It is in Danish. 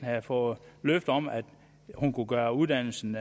havde fået løfte om at hun kunne gøre uddannelsen